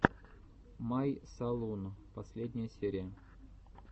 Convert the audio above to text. май салун последняя серия